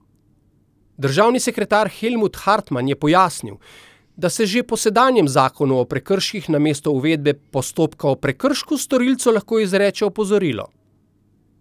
Državni sekretar Helmut Hartman je pojasnil, da se že po sedanjem zakonu o prekrških namesto uvedbe postopka o prekršku storilcu lahko izreče opozorilo.